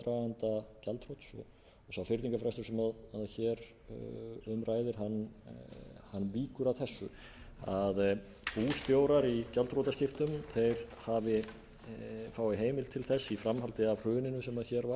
gjaldþrots og sá fyrningarfrestur sem hér um ræðir víkur að þessu að bústjórar í gjaldþrotaskiptum fái heimild til þess í framhaldi af hruninu sem hér